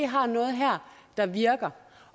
har noget her der virker